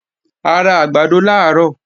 A ra àgbàdo làárọ̀